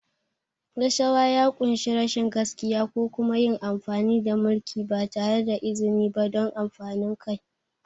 Rashawa ya ƙunshi rashin gaskiya ko kuma yin amfani da mulki ba tare da izini ba don amfanin kai.